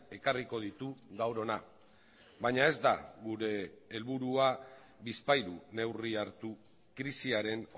ekarriko ditu gaur hona baina ez da gure helburua bizpahiru neurri hartu krisiaren